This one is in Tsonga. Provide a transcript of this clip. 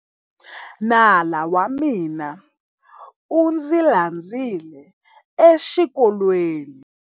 Nala wa mina u ndzi landzile exikolweni.